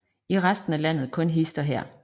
I resten af landet kun hist og her